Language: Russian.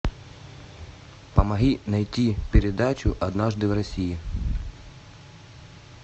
помоги найти передачу однажды в россии